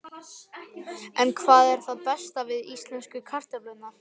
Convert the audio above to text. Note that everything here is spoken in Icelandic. En hvað er það besta við íslensku kartöflurnar?